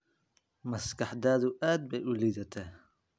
Maskaxdaadu aad bay u liidataa.